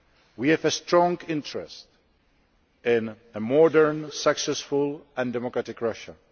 We have a strong interest in a modern, successful, and democratic Russia.